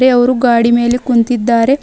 ತೆ ಅವರು ಗಾಡಿ ಮೇಲೆ ಕುಂತಿದ್ದಾರೆ.